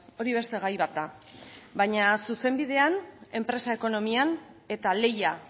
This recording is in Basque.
hori beste gai bat da baina zuzenbidean enpresa ekonomian eta lehia